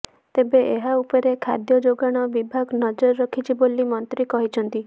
ତେବେ ଏହା ଉପରେ ଖାଦ୍ୟ ଯୋଗାଣ ବିଭାଗ ନଜର ରଖିଛି ବୋଲି ମନ୍ତ୍ରୀ କହିଛନ୍ତି